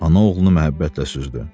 Ana oğlunu məhəbbətlə süzdü.